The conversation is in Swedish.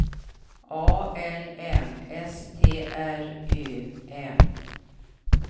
A L M S T R Ö M